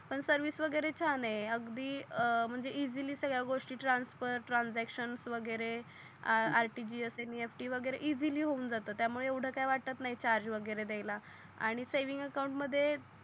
अन पण सर्विस वगेरे छान आहे अगदी म्हणजे इसेली सगळ्या गोष्टी ट्रान्सफर ट्रान्झॅक्शन वगेरे RTGSNEFT वगेरे इसेली हून जातो त्या मूळे येवड काही वाटत नाही वगेरे दयाला आणि सेव्हिंग अकाऊंट मध्ये